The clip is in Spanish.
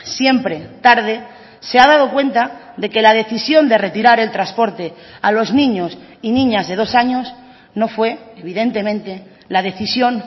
siempre tarde se ha dado cuenta de que la decisión de retirar el transporte a los niños y niñas de dos años no fue evidentemente la decisión